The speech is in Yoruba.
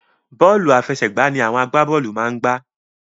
Bọ́ọ̀lù àfẹsẹ̀gbá ni àwọn agbábọ́ọ̀lù máa ń gbá